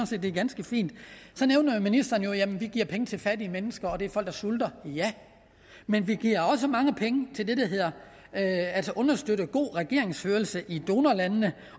set det er ganske fint så nævnte ministeren at vi giver penge til fattige mennesker og at det er folk der sulter ja men vi giver også mange penge til at støtte god regeringsførelse i donorlandene